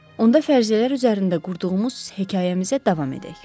Onda fərziyyələr üzərində qurduğumuz hekayəmizə davam edək.